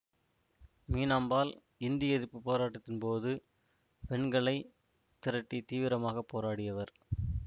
மீனாம்பாள் இந்தி எதிர்ப்பு போராட்டத்தின் போது பெண்களைத் திரட்டித் தீவிரமாக போராடியவர்